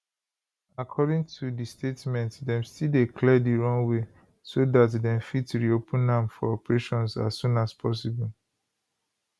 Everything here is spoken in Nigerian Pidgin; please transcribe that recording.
according to di statement dem still dey clear di runway so dat dem fit reopen am for operations as soon as possible